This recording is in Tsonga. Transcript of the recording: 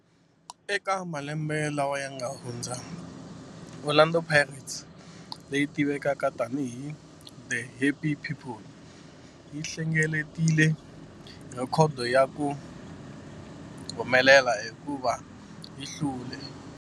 Eka malembe lawa yanga hundza, Orlando Pirates, leyi tivekaka tani hi 'The Happy People', yi hlengeletile rhekhodo ya ku humelela hikuva yi hlule.